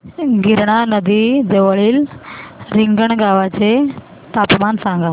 गिरणा नदी जवळील रिंगणगावाचे तापमान सांगा